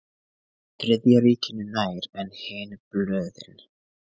Þriðja ríkinu nær en hin blöðin.